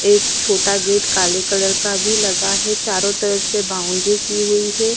एक छोटा गेट काले कलर का भी लगा है चारों तरफ से बाउंड्री की हुई है।